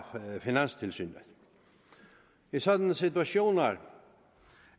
finanstilsynet i sådanne situationer